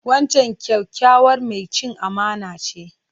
Wancan kyakkyawar mai cin amana ce.